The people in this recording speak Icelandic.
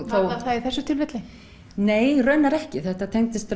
það í þessu tilfelli nei raunar ekki þetta tengdist